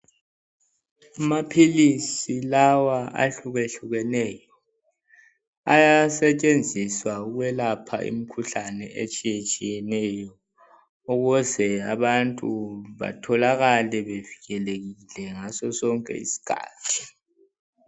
Amaphilisi lawa ahlukehlukeneyo ayasetshenziswa ukwelapha imkhuhlane etshiyetshiyeneyo ukuze abantu batholakale bevikelekile ngaso sonke isikhathi.